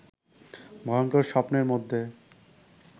ভয়ংকর স্বপ্নের মধ্যে